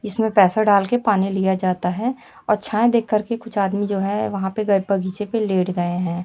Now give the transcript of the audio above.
इसमें पैसा डालके पानी लिया जाता है और छाँये देखकर के कुछ आदमी जो हैं वहाँ पे ग बगीचे पे लेट गए हैं।